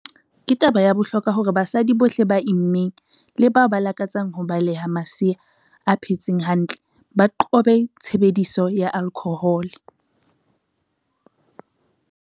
"Ke taba ya bohlokwa ya hore basadi bohle ba immeng le bao ba lakatsang ho beleha masea a phetseng hantle ba qobe tshebediso ya alkhohole."